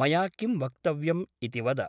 मया किं वक्तव्यम् इति वद ।